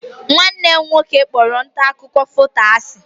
Nwanne m nwoke kpọrọ nta akụkọ foto asi.